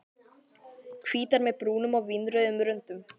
Hvítar með brúnum og vínrauðum röndum.